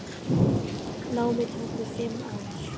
Námið tók mig fimm ár.